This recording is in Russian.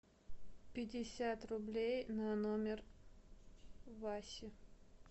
пятьдесят рублей на номер васи